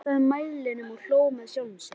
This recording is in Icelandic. Kastaði mæðinni og hló með sjálfum sér.